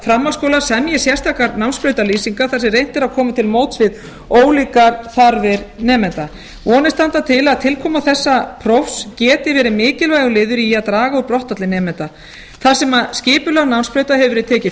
framhaldsskólar semji sérstakar námsbrautalýsingar þar sem reynt er að koma til móts við ólíkar þarfir nemenda vonir standa til að tilkoma þessa prófs geti verið mikilvægur liður í að draga úr brottfalli nemenda það sem skipulag námsbrauta hefur verið tekið